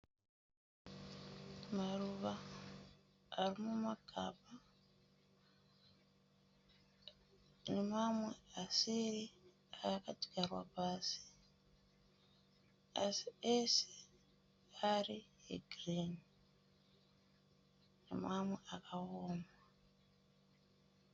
Maruva arimumagaba nemamwe asiri akajarwa pasi, asi ese ari egirini nemamwe akaoma.